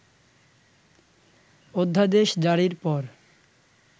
অধ্যাদেশজারির পর